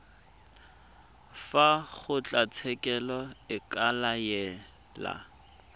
fa kgotlatshekelo e ka laela